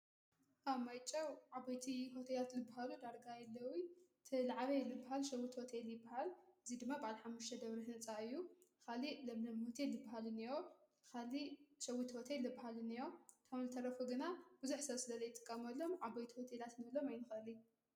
ኣብ ማይጨው ዓቦይቲ ሆተያት ልብሃሉ ዳርጋይ የለዊ ቲልዕበይ ልብሃል ሸዉት ወተይ ልበሃል እዙይ ድማ ብዓልሓሙሽ ደብርሕ ነጻዩ ኻሊ ለም ለምሁቲይ ልበሃሉንእዮ ኻሊ ሸዉት ወተይ ልብሃሉንእዮ ቶምልተረፉ ግና ብዙኅሰ ስለለይትቀመሎም ዓቦይቲ ወቴ ላት ንህሎም ኣይንኸሊ።